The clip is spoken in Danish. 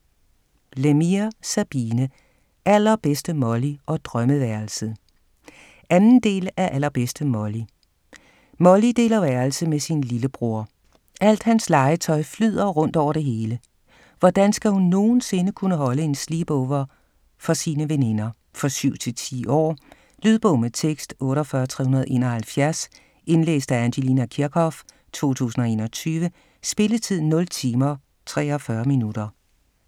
Lemire, Sabine: Allerbedste Molly - og drømmeværelset 2. del af Allerbedste Molly. Molly deler værelse med sin lillebror. Alt hans legetøj flyder rundt over det hele. Hvordan skal hun nogensinde kunne holde en sleep-over for sine veninder? For 7-10 år. Lydbog med tekst 48371 Indlæst af Angelina Kirchhoff, 2021. Spilletid: 0 timer, 43 minutter.